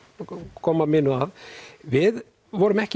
koma mínu að við vorum ekki